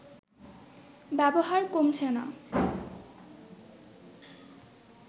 ব্যবহার কমছে না